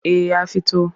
Eh ya fito.